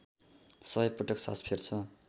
सय पटक सास फेर्छ